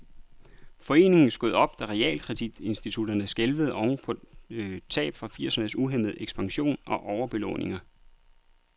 Foreningen skød op, da realkreditinstitutterne skælvede oven på tab fra firsernes uhæmmede ekspansion og overbelåninger.